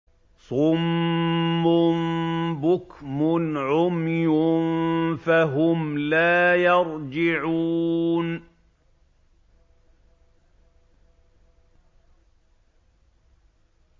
صُمٌّ بُكْمٌ عُمْيٌ فَهُمْ لَا يَرْجِعُونَ